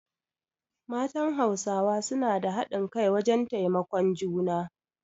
Matan Hausawa su na da hadin kai wajen taimakon juna